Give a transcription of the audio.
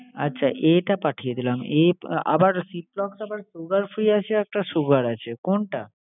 আচ্ছা A টা পাঠিয়ে দিলাম। A আবার ciplox আবার sugar free আছে একটা, sugar আছে। কোনটা?